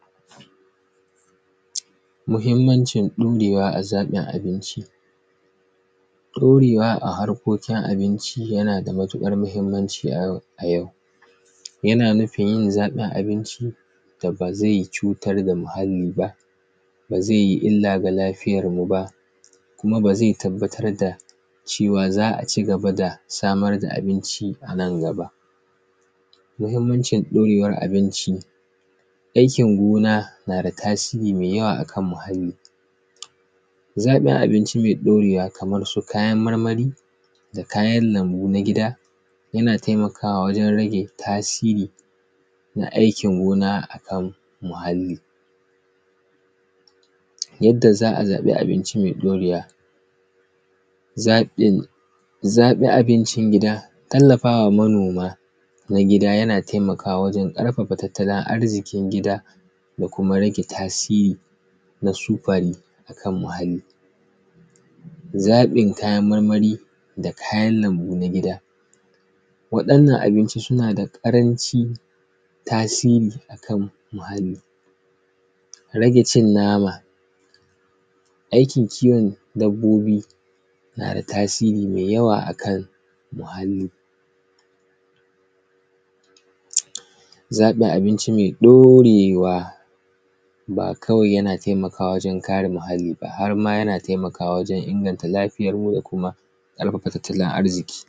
Muhimmancin ɗurewa a zaƃin abinci. Ɗorewa a harkokinabinci yana da matiƙar mahimmanci a yau; a yau. Yana nufin, yin zaƃin abinci da ba ze cutar da muhalli ba, ba ze yi illa ga lafiyarmu ba kuma ba ze tabbatar da cewa za a ci gaba da samar da abinci a nan gaba. Mahimmancin ɗorewar abinci, aikin gona na da tasiri me yawa a kan muhalli. Zaƃin abinci me ɗorewa kamar su kayan marmari da kayan lambu na gida, yana temakawa wajen rage tasiri na aikin gona a kan muhalli. Yadda za a zaƃi abinci me ɗorewa, zaƃin; zaƃi abincin gida, tallafa wa manoma na gida, yana temakawa wajen ƙarfafa tattalin arziƙin gida da kuma rage tasiri na sufari a kan muhalli. Zaƃin kayan marmari da kayan lambu na gida, waɗannan abinci suna da ƙaranci tasiri a kan muhalli, rage cin nama, aikin kiwon dabbobi na da tasiri me yawa a kan muhalli. Zaƃin abinci me ɗorewa, ba kawai yana temakawa wajen kare muhalli ba, har ma yana temakawa wajen inganta lafiyarmu da kuma ƙarfafa tattalin arziƙi.